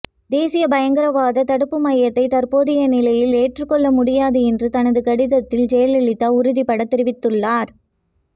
தேசிய பயங்கரவாத தடுப்பு மையத்தை தற்போதைய நிலையில் ஏற்றுக் கொள்ள முடியாது என்று தனது கடிதத்தில் ஜெயலலிதா உறுதிபடத் தெரிவித்துள்ளார்